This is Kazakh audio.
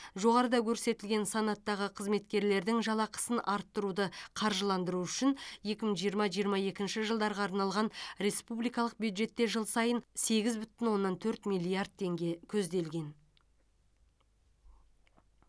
жоғарыда көрсетілген санаттағы қызметкерлердің жалақысын арттыруды қаржыландыру үшін екі мың жиырма жиырма екінші жылдарға арналған республикалық бюджетте жыл сайын сегіз бүтін оннан төрт миллиард теңге көзделген